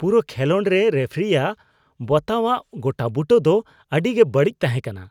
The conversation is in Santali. ᱯᱩᱨᱟᱹ ᱠᱷᱮᱞᱳᱰ ᱨᱮ ᱨᱮᱯᱷᱟᱨᱤᱭᱟᱜ ᱵᱟᱛᱟᱣᱟᱜ ᱜᱚᱴᱟᱵᱩᱴᱟᱹ ᱫᱚ ᱟᱹᱰᱤ ᱜᱮ ᱵᱟᱹᱲᱤᱡ ᱛᱟᱦᱮᱸ ᱠᱟᱱᱟ ᱾